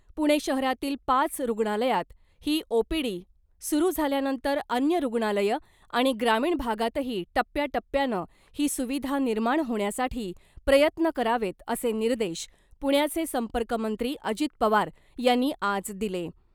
पुणे शहरातील पाच रुग्णालयात ही ओपीडी सुरु झाल्यानंतर अन्य रुग्णालयं आणि ग्रामीण भागातही टप्प्याटप्प्यानं ही सुविधा निर्माण होण्यासाठी प्रयत्न करावेत असे निर्देश पुण्याचे संपर्कमंत्री अजीत पवार यांनी आज दिले .